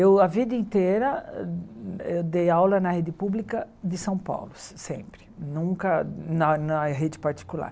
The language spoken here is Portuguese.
Eu, a vida inteira, eu dei aula na rede pública de São Paulo, sempre, nunca na na rede particular.